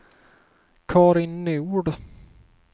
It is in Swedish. Carin Nord